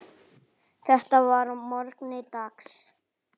Þetta var að morgni dags.